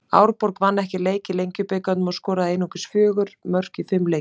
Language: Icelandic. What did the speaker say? Árborg vann ekki leik í Lengjubikarnum og skoraði einungis fjögur mörk í fimm leikjum.